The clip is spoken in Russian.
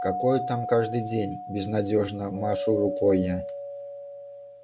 какое там каждый день безнадёжно машу рукой я